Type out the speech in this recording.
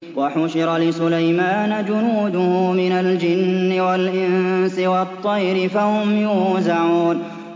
وَحُشِرَ لِسُلَيْمَانَ جُنُودُهُ مِنَ الْجِنِّ وَالْإِنسِ وَالطَّيْرِ فَهُمْ يُوزَعُونَ